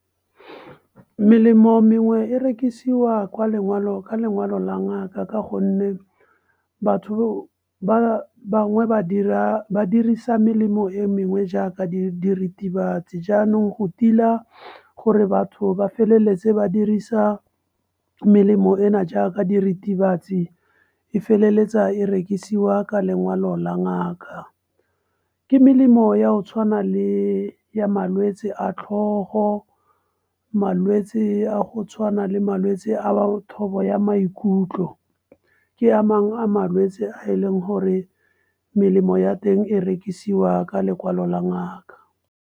Melemo mengwe e rekisiwa ka lekwalo la ngaka. Ka gonne batho ba bangwe ba dirisa melemo e mengwe jaaka diritibatsi. Jaanong go tila gore batho ba feleletse ba dirisa melemo ena jaaka diritibatsi, e feleletsa e rekisiwa ka lengwalo la ngaka. Ke melemo ya go tshwana le ya malwetse a tlhogo, malwetse a go tshwana le malwetse a bo thobo ya maikutlo, ke a mangwe a malwetse a e leng gore melemo ya teng e rekisiwa ka lekwalo la ngaka.